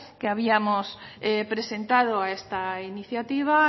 que habíamos presentado a esta iniciativa